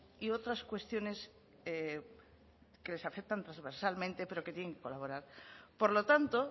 y otras cuestiones que les afectan transversalmente pero que tienen que colaborar por lo tanto